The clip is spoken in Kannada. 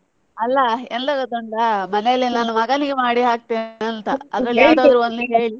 ಅಲ್ಲ ಎಂತ ಗೊತ್ತುಂಟಾ ಮನೆಯಲ್ಲಿ ನಾನು ಮಗನಿಗೆ ಮಾಡಿ ಹಾಕ್ತೆನೆಂಥ .